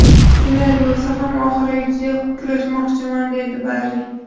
Shunday bo‘lsa ham oxirigacha kurashmoqchiman”, deydi Barri.